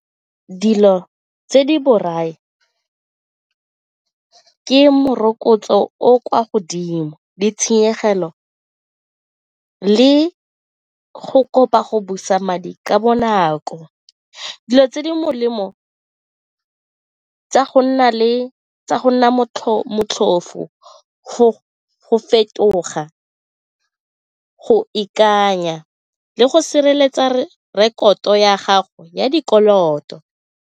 Dilo tse di borai ke morokotso o o kwa godimo, ditshenyegelo le go kopa go busa madi ka bonako. Dilo tse di molemo tsa go nna motlhofo go fetoga, go ikanya le go sireletsa rekoto ya gago ya dikoloto.